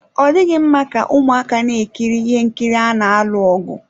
Ọ dịghị mma ka ụmụaka na-ekiri ihe nkiri ana alụ ọgụ.